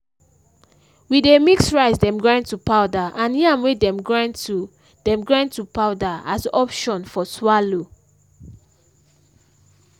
we dey mix rice dem grind to powder and yam wey dem grind to dem grind to powder as option for swallow